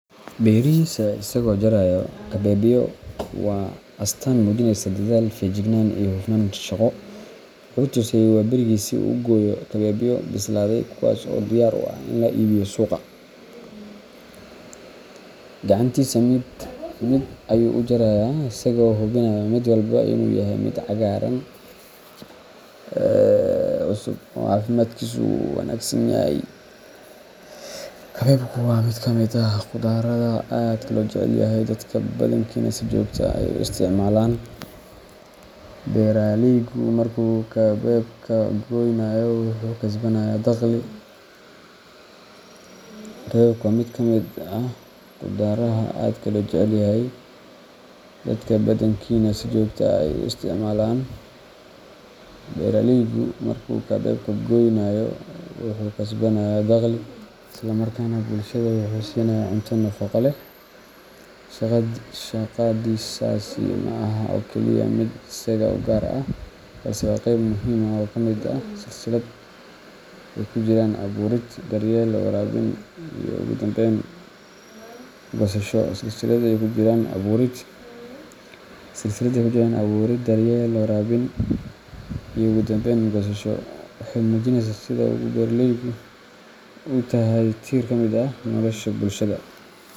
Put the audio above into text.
Beerihiisa isagoo jaraya kabeebyo waa astaan muujinaysa dadaal, feejignaan iyo hufnaan shaqo. Wuxuu toosay waaberigii si uu u gooyo kabeebyo bislaaday, kuwaas oo diyaar u ah in loo iibgeeyo suuqa. Gacantiisa mid mid ayuu u jarayaa isagoo hubinaya mid walba inuu yahay mid cagaaran, cusub oo caafimaadkiisu wanaagsan yahay. Kabeebku waa mid ka mid ah qudaaraha aadka loo jecel yahay, dadka badankiina si joogto ah ayay u isticmaalaan. Beeraleygu markuu kabeebka goynayo wuxuu kasbanayaa dakhli, isla markaana bulshada wuxuu siinayaa cunto nafaqo leh. Shaqadiisaasi ma aha oo keliya mid isaga u gaar ah, balse waa qeyb muhiim ah oo ka mid ah silsilad ay ku jiraan abuurid, daryeel, waraabin iyo ugu dambayn goosasho. Waxay muujinaysaa sida uu beeraleygu u yahay tiir ka mid ah nolosha bulshada.